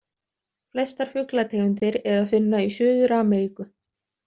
Flestar fuglategundir er að finna í Suður-Ameríku.